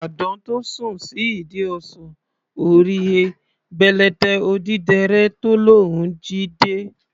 Àdán tó sùn sí ìdí ọsàn, ò rí he, bèlèté odídẹrẹ́ tó lóun jí dé.